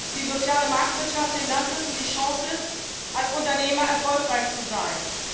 Die soziale Marktwirtschaft hingegen bietet den Landwirten die Chance, als Unternehmer erfolgreich zu sein.